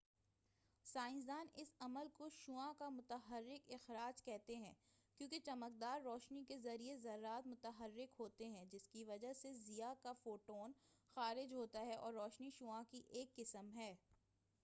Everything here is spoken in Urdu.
سائنسدان اس عمل کو شعاع کا متحرک اخراج کہتے ہیں کیونکہ چمکدار روشنی کے ذریعہ ذرات متحرک ہوتے ہیں جسکی وجہ سے ضیاء کا فوٹون خارج ہوتا ہے اور روشنی شعاع کی ایک قسم ہے